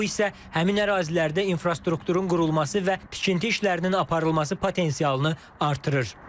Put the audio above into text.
Bu isə həmin ərazilərdə infrastrukturun qurulması və tikinti işlərinin aparılması potensialını artırır.